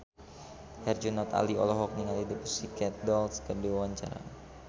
Herjunot Ali olohok ningali The Pussycat Dolls keur diwawancara